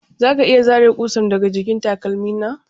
Za ka iya zare ƙusar daga jikin takalmi na?